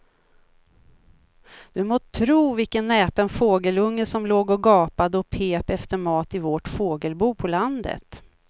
Du må tro vilken näpen fågelunge som låg och gapade och pep efter mat i vårt fågelbo på landet.